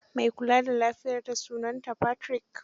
Mai kula da lafiyarta sunansa Patrick.